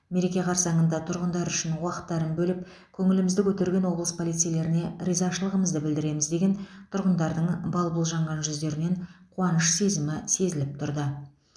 мереке қарсаңында тұрғындар үшін уақыттарын бөліп көңілімізді көтерген облыс полицейлеріне ризашылығымызды білдіреміз деген тұрғындардың бал бұл жанған жүздерінен қуаныш сезімі сезіліп тұрды